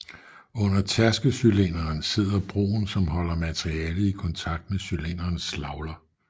Under tærkecylinderen sidder broen som holder materialet i kontakt med cylinderens slagler